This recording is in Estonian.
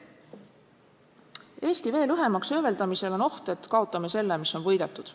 Eesti veel õhemaks hööveldamisel on oht, et kaotame selle, mis on võidetud.